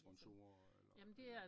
Sponsorer eller